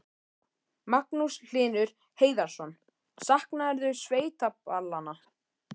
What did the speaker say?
Magnús Hlynur Hreiðarsson: Saknarðu sveitaballanna?